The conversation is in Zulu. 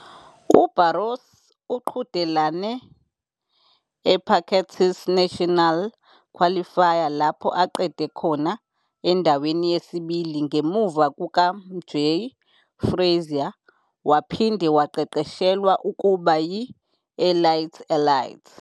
UBarros uqhudelane eParkettes National Qualifier lapho aqede khona endaweni yesibili ngemuva kukaMjae Frazier waphinde waqeqeshelwa ukuba yi-elite elite.